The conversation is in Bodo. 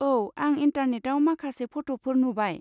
औ, आं इन्टारनेटाव माखासे फट'फोर नुबाय।